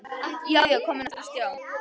Já, já, komin aftur á stjá!